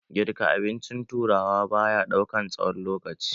Girka abincin turawa baya ɗaukan tsawon lokaci.